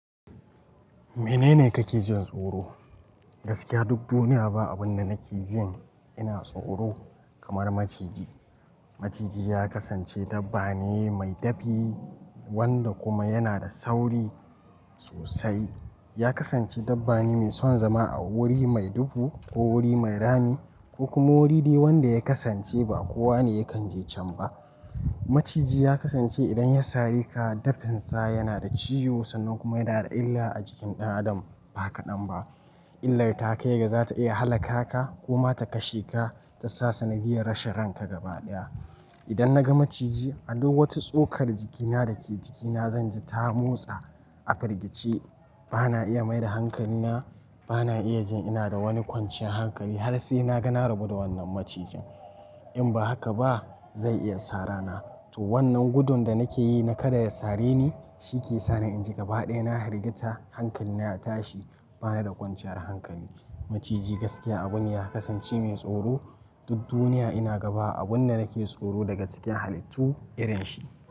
Menene kake jin tsoro? Gaskiya duk duniya ba abun da nake jin ina tsoro kamar maciji. Maciji ya kasance dabba ne mai dafi wanda kuma yana da sauri sosai. Ya kasance dabba ne mai son zama a wuri mai duhu ko wuri mai rami ko kuma wuri wanda ya kasance ba kowane yakan je can ba. Maciji ya kasance idan ya sare ka dafinsa yana da ciwo san nan kuma yana da illa a jikin ɗan adam ba kaɗan ba. Illar ta kai ga za ta iya halaka ka ko ma ta kashe ka ta sa sanadiyar rashin ranka gaba ɗaya. Idan naga maciji, aduk wata tsokar jikina da ke jikina zanji ta motsa a firgice. Bana iya maida hankalina, bana iya jin ina da wani kwanciyar hankali har sai naga na rabu da wannan macijin. In ba haka ba zai iya sarana. To wannan gudun da nake yi na kada ya sare ni shi ke sani in ji gaba ɗaya na hirgita, hankalina ya tashi bana da kwanciyar hankali. Maciji gaskiya abun ya kasance mai tsoro. Duk duniya ina gaba abun da nake tsoro daga cikin halittu irin shi.